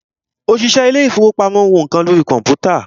òṣìṣẹ́ ilé ìfọwọ́pamo ń wo nǹkan lórí kọ̀mpútà.